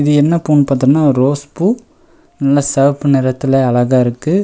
இது என்ன பூனு பாத்தம்னா ரோஸ் பூ நல்ல செவப்பு நெறத்துல அழகா இருக்கு.